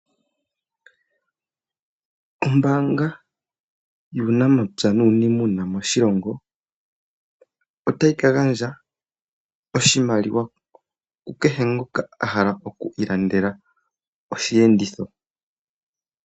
Ombaanga yuunamapya nuunimuna moshilongo otayi ka gandja oshimaliwa kukehe ngoka ahala oku ilandela oshiyenditho